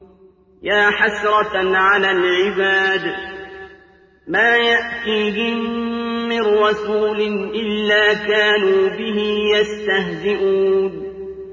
يَا حَسْرَةً عَلَى الْعِبَادِ ۚ مَا يَأْتِيهِم مِّن رَّسُولٍ إِلَّا كَانُوا بِهِ يَسْتَهْزِئُونَ